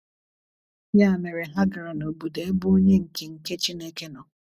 Ya mere, ha gara n’obodo ebe onye nke nke Chineke nọ.